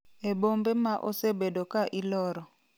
e bombe ma osebedo ka iloro